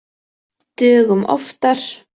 Dögum oftar.